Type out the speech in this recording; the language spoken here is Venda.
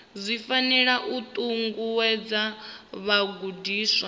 zwi fanela u ṱuṱuwedza vhagudiswa